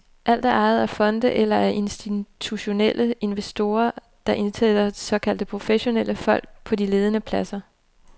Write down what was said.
Alt er ejet af fonde eller af institutionelle investorer, der indsætter såkaldte professionelle folk på de ledende pladser.